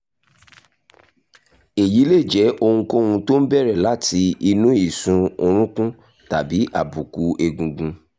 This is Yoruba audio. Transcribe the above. èyí lè jẹ́ ohunkóhun tó ń bẹ̀rẹ̀ láti inú ìsun orunkun tàbí àbùkù egungun